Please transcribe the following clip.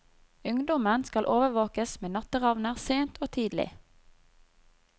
Ungdommen skal overvåkes med natteravner sent og tidlig.